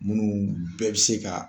Minnu bɛɛ bi se ka